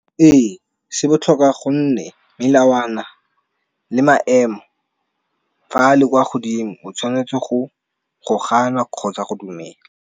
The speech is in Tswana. Ee se botlhokwa gonne melawana le maemo fa le kwa godimo o tshwanetse gana kgotsa go dumela.